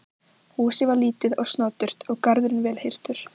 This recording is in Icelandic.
Húsið var lítið og snoturt og garðurinn vel hirtur.